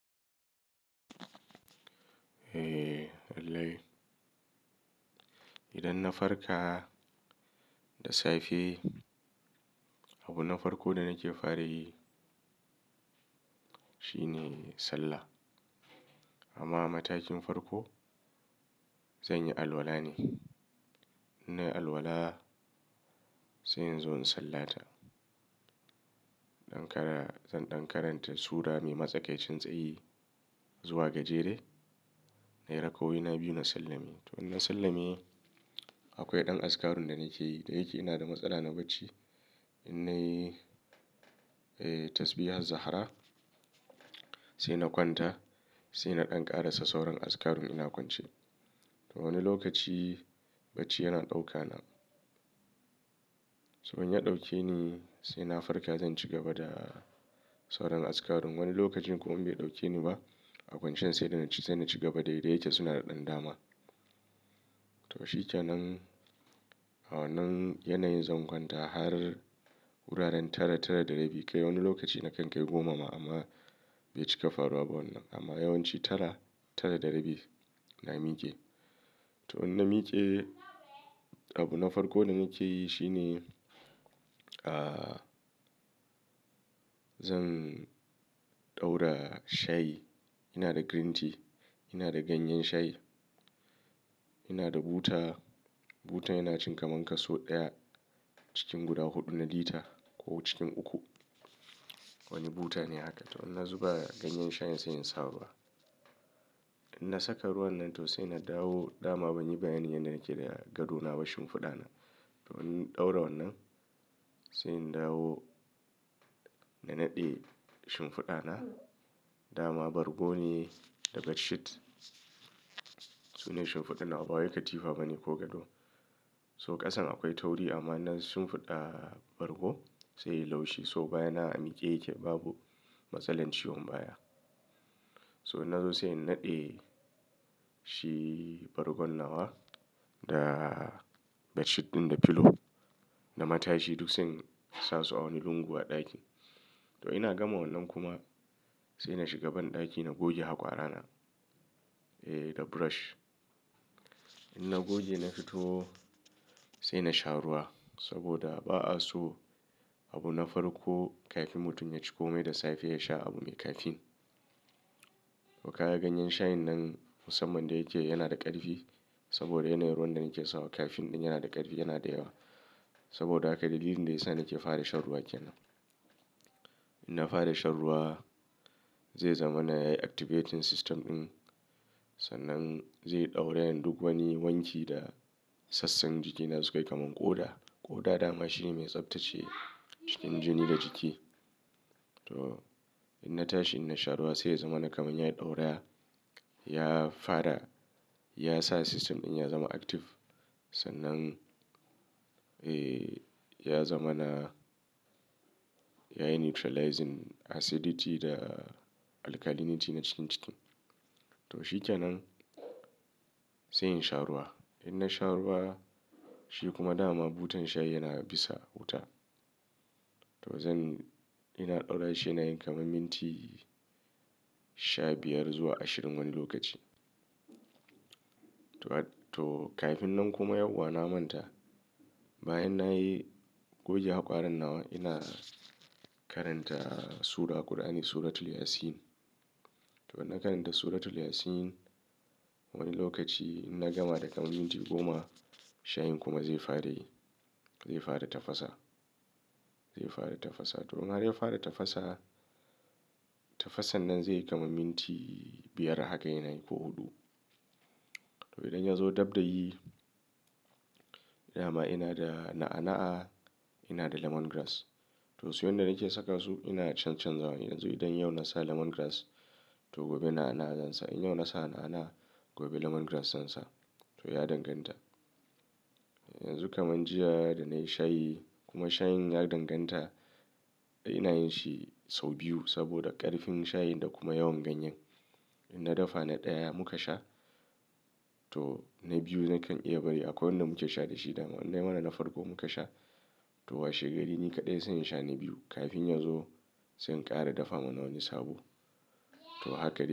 Eh, wallahi. Idan na farka da safe, abu na farko da nake fara yi shine sallah. Amma matakin farko zan yi alwala ne. In nayi alwala sai in zo in sallata. Ɗan kara, zan ɗankaranta sura mai matsakaicin tsayi zuwa gajere. Nayi raka'o'ina biyu na sallami. To in na sallami akwai ɗan azkarun da nake yi. Da yake ina da matsala na bacci. In nayi, eh tasbihat zahra sai na kwanta sai na ɗan ƙara sassauran azkar in ina kwance. Wani lokaci bacci yana ɗauka na. To in ya ɗauke ni sai na farka zan ci gaba da sauran askarun. Wani lokacin kuma in bai ɗauke ni ba a kwancian sai da na ci gaba daidai da yake suna da ɗan dama. To shikenan. A wannan yanayin zan kwanta har wuraren tara, tara da rabi. Kai wani lokaci na kan kai goma ma amma bai cika faruwa ba wannan. Amma yawanci tara, tara da rabi na mike. To in na mike abu na farko da nake yi shine, ah, zan ɗaura shayi. Ina da green tea, ina da ganyen shayi, ina da buta. Butan yana cin kaman kaso ɗaya cikin guda huɗu na lita ko cikin uku. Wani buta ne haka. To in na zuba ganyen shayin sai in sawa ba. In na saka ruwan nan to sai na dawo. Da ma ban yi bayanin yanda nake yi da gado na ba shimfiɗa na. To in ɗaura wannan sai in dawo na naɗe shimfiɗa na. Da ma bargo ne daga sheet. Sune shimfiɗa nawa ba wai katifa bane ko gado. So ƙasan akwai tauri amma nan shimfiɗa bargo sai ya laushi. So baya na a mike yake babu matsalar ciwon baya. So in na zo sai in naɗe shi bargon nawa da bedsheet ɗin da pillow da matashi duk sun samu awami lungu a ɗaki. To ina gama wannan kuma sai na shiga banɗaki na goge hakwarana eh da brush. In na goge na fito sai na sha ruwa saboda ba'a so abu na farko kafin mutum ya ciko mai da safe ya sha abu mai caffeine. Hakara ganyen shayin nan musamman da yake yana da ƙarfi saboda yanayin ruwan da nake sawa caffeine ɗin yana da ƙarfi yana da yawa. Saboda haka dalilin da ya sa nake fara shan ruwa ke nan. In na fara shan ruwa zai zama na ya yi activating system ɗin sannan zai ɗaura yan duk wani wanki da sassan jikina su kai kaman ƙoda. Ƙoda dama shine mai tsabtacce cikin jini da jiki. To in na tashi in na sha ruwa sai ya zama na kaman ya yi ɗaura, ya fara, ya sa system ɗin ya zama active. Sannan, eh ya zama na ya yi neutralizing acidity da alkalinity na cikin jiki. To shikenan sai in sha ruwa. In na sha ruwa shi kuma dama butan shayi yana bisa wuta. To zan, ina ɗaura shi na yanka man minti sha biyar zuwa ashirin wani lokaci. To, to kafin nan kuma yau wa na manta bayan na yi goge hakwarar nawa ina karanta sura ƙur'ani suratul Yasin. To in na karanta suratul Yasin wani lokaci in na gama da kan minti goma shayin kuma zai fara yi. Zai fara tafasa. Zai fara tafasa. To in har ya fara tafasa tafasan nan zai kama minti biyar haka yana yi ko huɗu. To idan ya zo dabda yi, dama ina da na'ana'a ina da lemongrass. To su yanda nake saka su ina canza canzawa. Yanzu idan yau na sa lemongrass to gobe na'ana'a zan sa. In yau na sa na'ana'a gobe lemongrass zan sa. To ya danganta. Yanzu kaman jiya da na yi shayi kuma shayin ya danganta ina yin shi sau biyu saboda ƙarfin shayin da kuma yawan ganyen. In na dafa na ɗaya muka sha to na biyu nakan iya bari akwai wanda muke sha da shi dama wanda mana na farko muka sha. To washe gari ni kaɗai zan sha na biyu kafin ya zo zan ƙara dafa mana wani sabo. To haka yake.